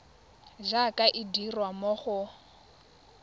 jaaka e dirwa mo go